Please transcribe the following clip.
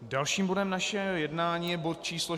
Dalším bodem našeho jednání je bod číslo